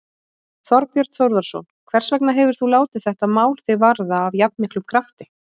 Þorbjörn Þórðarson: Hvers vegna hefur þú látið þetta mál þig varða af jafnmiklum krafti?